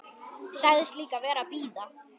Sagðist líka vera að bíða.